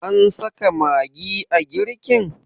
an saka magi a girkin?